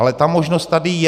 Ale ta možnost tady je.